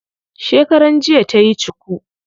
Shekaran jiya tayi cuku.